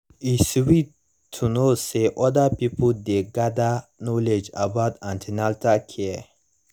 e sweet to know say other pipo dey gather knowledge about an ten atal care